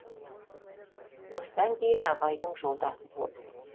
осыдан кейін абайдың жолдасы болдым